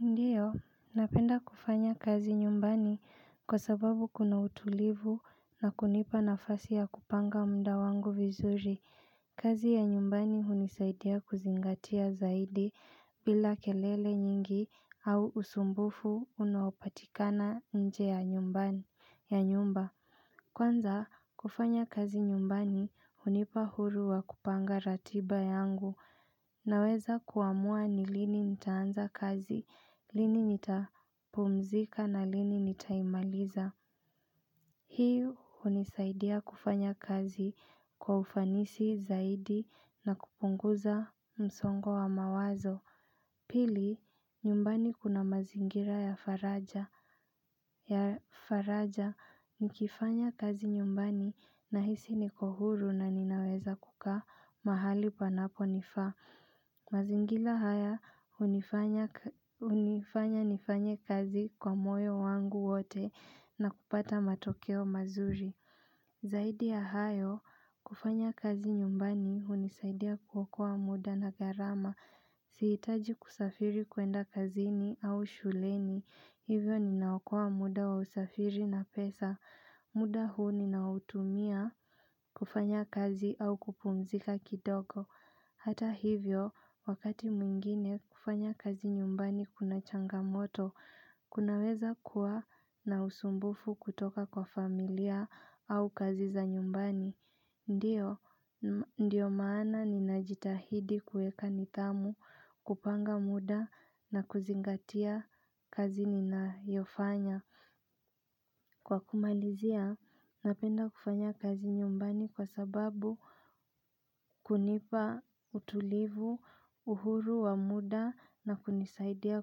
Ndiyo, napenda kufanya kazi nyumbani kwa sababu kuna utulivu na kunipa nafasi ya kupanga mda wangu vizuri. Kazi ya nyumbani hunisaidia kuzingatia zaidi bila kelele nyingi au usumbufu unaopatikana nje ya nyumbani. Ya nyumba Kwanza kufanya kazi nyumbani hunipa huru wa kupanga ratiba yangu Naweza kuamua ni lini nitaanza kazi, lini nitapumzika na lini nitaimaliza hiyo hunisaidia kufanya kazi kwa ufanisi zaidi na kupunguza msongo wa mawazo Pili nyumbani kuna mazingira ya faraja ya faraja nikifanya kazi nyumbani nahisi niko huru na ninaweza kukaa mahali panapo nifaa mazingira haya hunifanya nifanye kazi kwa moyo wangu wote na kupata matokeo mazuri Zaidi ya hayo kufanya kazi nyumbani hunisaidia kuokoa muda na gharama Sihitaji kusafiri kuenda kazini au shuleni, hivyo ninaokoa muda wa usafiri na pesa, muda huu ninautumia kufanya kazi au kupumzika kidogo Hata hivyo, wakati mwingine kufanya kazi nyumbani kuna changamoto, kunaweza kuwa na usumbufu kutoka kwa familia au kazi za nyumbani Ndiyo maana ninajitahidi kuweka nidhamu, kupanga muda na kuzingatia kazi ninayofanya. Kwa kumalizia, napenda kufanya kazi nyumbani kwa sababu kunipa utulivu, uhuru wa muda na kunisaidia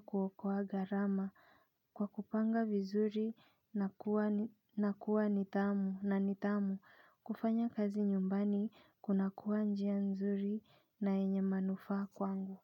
kuokoa gharama. Kwa kupanga vizuri na kuwa ni tamu na nitamu kufanya kazi nyumbani kuna kuwa njia nzuri na yenye manufaa kwangu.